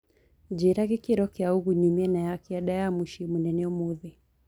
njĩĩra gĩkĩro kĩa ũgũnyu miena ya kianda ya mũcĩĩ munene umuthi